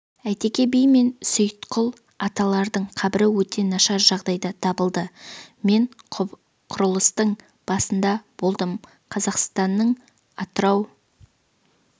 әйтеке би мен сейітқұл аталардың қабірі өте нашар жағдайда табылды мен құрылыстың басында болдым қазақстанның атырау